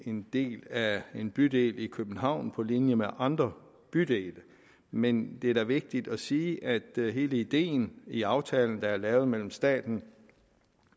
en del af en bydel i københavn på linje med andre bydele men det er da vigtigt at sige at hele ideen i aftalen der er lavet mellem staten